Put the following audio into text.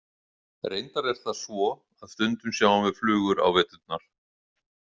Reyndar er það svo að stundum sjáum við flugur á veturna.